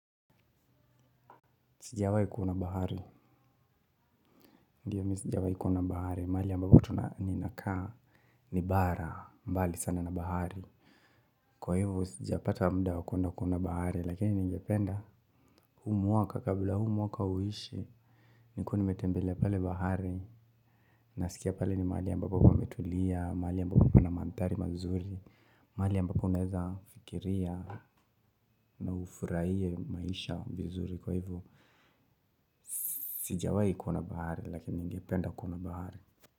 Sijawai kuona bahari. Ndio mimi sijawahi kuona bahari. Mahali ambapo ninakaa ni bara. Mbali sana na bahari. Kwa hivyo, sijapata muda wa kwenda kuona bahari. Lakini ningependa, huu mwaka kabla huu mwaka uishe nikuwe nimetembelea pale bahari. Nasikia pale ni mahali ambapo pametulia. Mahali ambapo pana mandhari mazuri. Mahali ambapo inaweza fikiria. Na ufurahie maisha vizuri. Kwa hivu, sijawai kuna bahari. Lakini ngependa kuna bahari.